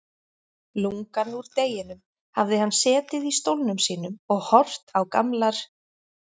Lungann úr deginum hafði hann setið í stólnum sínum og horft á gamlar